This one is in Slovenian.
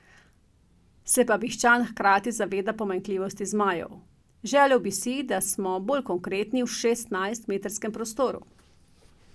Se pa Bišćan hkrati zaveda pomanjkljivosti zmajev: "Želel bi si, da smo bolj konkretni v šestnajstmetrskem prostoru.